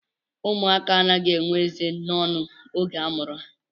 Ụmụaka anaghị enwe eze n'ọnụ oge a mụrụ ha